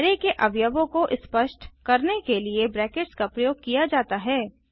array के अवयवों को स्पष्ट करने के लिए ब्रैकेट्स का प्रयोग किया जाता है